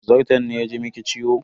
Zarton ne ya ji miki ciwo?